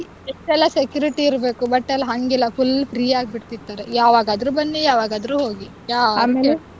ಎಷ್ಟೆಲ್ಲ security ಇರ್ಬೇಕು but ಅಲ್ ಹಂಗಿಲ್ಲ full free ಆಗ್ಬಿಡ್ತಿತ್ತು ಯಾವಾಗಾದ್ರೂ ಬನ್ನಿ ಯಾವಾಗಾದ್ರೂ ಹೋಗಿ .